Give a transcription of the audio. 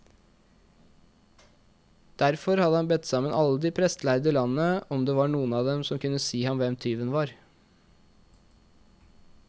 Derfor hadde han bedt sammen alle de prestlærde i landet, om det var noen av dem som kunne si ham hvem tyven var.